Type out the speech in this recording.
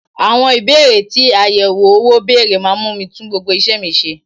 Àwọn Ìbéèrè tí àyẹ̀wò owó bèrè máa mú mi tún gbogbo isẹ mi ṣe.